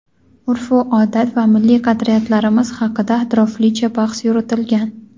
urfu odat va milliy qadriyatlarimiz haqida atroflicha bahs yuritilgan.